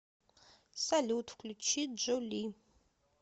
салют включи джо ли